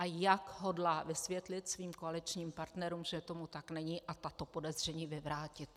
A jak hodlá vysvětlit svým koaličním partnerům, že tomu tak není, a tato podezření vyvrátit.